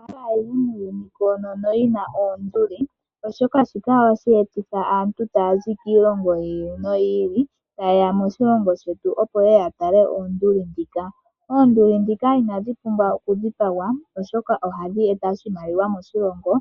Aantu mba haya yi muuyuni koonono yina oonduli oshoka shika ohashi etitha aantu taya zi kiilongo yili noyi ili taye ya moshilongo shetu, opo ye ye ya tale onduli ndhika. Oonduli ndhika inadhi pumbwa okudhipagwa, oshoka ohadhi eta oshimaliwa moshilongo